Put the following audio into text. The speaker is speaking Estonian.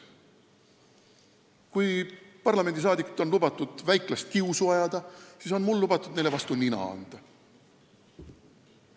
Kui parlamendiliikmetel on lubatud väiklast kiusu ajada, siis on mul lubatud neile vastu nina anda.